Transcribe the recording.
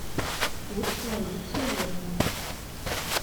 курс валют сегодня